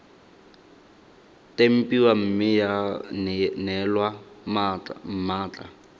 tempiwa mme ya neelwa mmatla